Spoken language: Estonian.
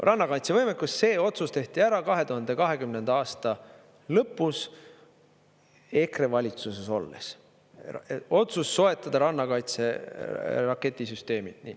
Rannakaitse võimekus, see otsus tehti ära 2020. aasta lõpus EKRE valitsuses olles, otsus soetada rannakaitse raketisüsteemid.